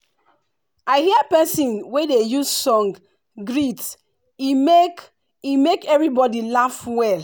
i hear persin wey dey use song greet e make e make everybody laugh well